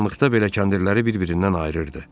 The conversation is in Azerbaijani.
Qaranlıqda belə kəndirləri bir-birindən ayırırdı.